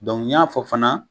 N ɲ'a fɔ fana